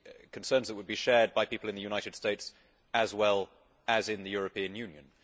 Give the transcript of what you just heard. concerns that would be shared by people in the United States as well as in the European Union.